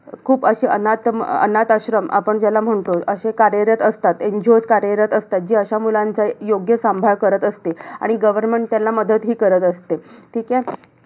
खूप अशी अनाथ अनाथाश्रम आपण ज्याला म्हणतो. अशी कार्यरत असतात. NGO कार्यरत असतात. जी अश्या मुलांचा योग्य सांभाळ करत असते. आणि government त्याला मदतही करत असते. ठीके.